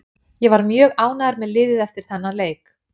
Ég var mjög ánægður með liðið eftir þennan leik.